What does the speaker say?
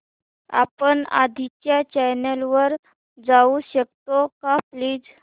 आपण आधीच्या चॅनल वर जाऊ शकतो का प्लीज